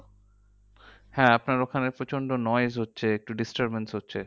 হ্যাঁ আপনার ওখানে প্রচন্ড হচ্ছে। একটু disturbance হচ্ছে।